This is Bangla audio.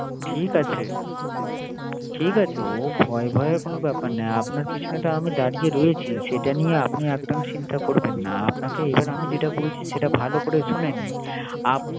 ঠিক আছে। ঠিক আছে বোন, ও ভয় ভয়ে কোন ব্যাপার আপনার পিছনে তো আমি দাড়িয়ে রয়েছি। সেটা নিয়ে আপনি একদম চিন্তা করবেন। আপনাকে এবার আমি যেটা বলছি, সেটা ভালো করে শুনে নিন। আপনি